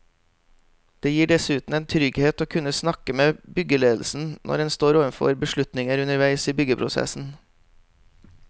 Det gir dessuten en trygghet å kunne snakke med byggeledelsen når en står overfor beslutninger underveis i byggeprosessen.